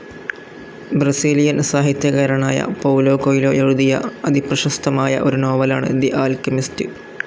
Brazilian സാഹിത്യകാരനായ Paulo Coelho എഴുതിയ അതിപ്രേശസ്തമായ ഒരു നോവലാണ് തെ ആല്കെമിസ്റ്.